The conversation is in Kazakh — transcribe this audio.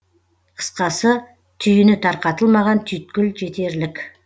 қысқасы түйіні тарқатылмаған түйткіл жетерлік